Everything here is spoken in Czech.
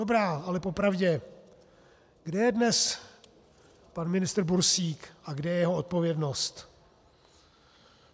Dobrá, ale popravdě, kde je dnes pan ministr Bursík a kde je jeho odpovědnost?